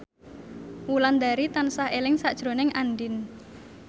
Wulandari tansah eling sakjroning Andien